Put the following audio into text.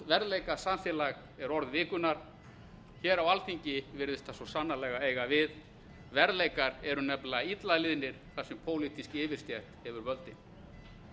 vanhæfi er sláandi andverðleikasamfélag er orð vikunnar hér á alþingi virðist það svo sannarlega eiga við verðleikar eru nefnilega illa liðnir þar sem pólitísk yfirstétt hefur völdin